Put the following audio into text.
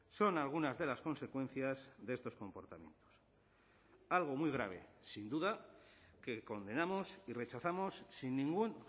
son algunas de las consecuencias de estos comportamientos algo muy grave sin duda que condenamos y rechazamos sin ningún